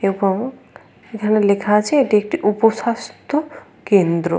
এবং এখানে লেখা আছে এটি একটি উপ-স্বাস্থ্য কেন্দ্র।